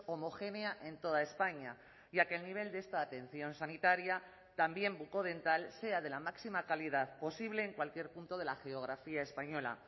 homogénea en toda españa y a que el nivel de esta atención sanitaria también bucodental sea de la máxima calidad posible en cualquier punto de la geografía española